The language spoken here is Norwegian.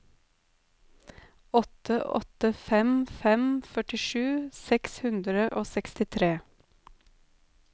åtte åtte fem fem førtisju seks hundre og sekstitre